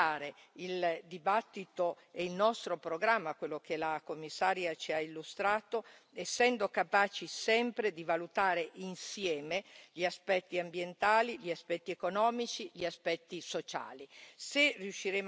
Dobbiamo affrontare il dibattito e il nostro programma, quello che la Commissaria ci ha illustrato, essendo sempre capaci di valutare insieme gli aspetti ambientali, gli aspetti economici e gli aspetti sociali.